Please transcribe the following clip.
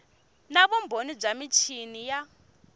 na vumbhoni bya michini ya